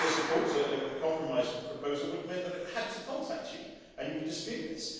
With the report, the compromise proposal would have meant that it had to contact you and you could dispute this.